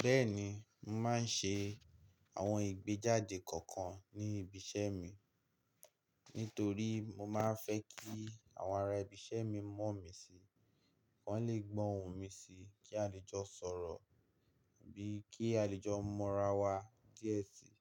Bẹ́ẹ̀ni, mo màá ń ṣe àwọn ìgbéjáde kọ̀ọ̀kan ní ibi iṣẹ́ mi. Nítorí mo máa fẹ́ kí àwọn ará ibi iṣẹ́ mi mọ̀ mí sí, kí wọ́n le gbọ́ ohùn mi sí, kí àlejò sọ̀rọ̀, bíi kí àlejò mọ̀ra wa díẹ̀ síi.